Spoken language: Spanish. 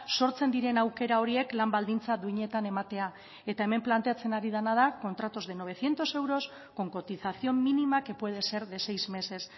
sortzen diren aukera horiek lan baldintza duinetan ematea eta hemen planteatzen ari dena da contratos de novecientos euros con cotización mínima que puede ser de seis meses